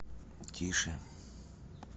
тише